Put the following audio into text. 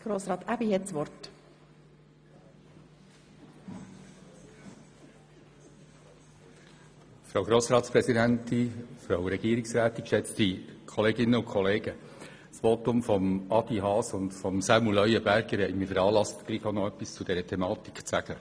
Die Voten von Grossrat Haas und Grossrat Leuenberger haben mich dazu veranlasst, etwas zu dieser Thematik zu sagen.